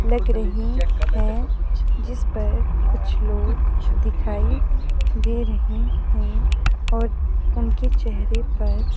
लग रही है जिसपर कुछ लोग दिखाई दे रहे हैं और उनके चेहरे पर।